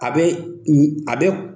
A bɛ a bɛ